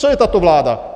Co je tato vláda?